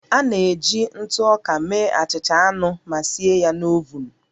A na-eji ntụ ọka mee achịcha anụ ma sie ya na ovun